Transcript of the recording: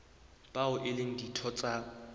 bao e leng ditho tsa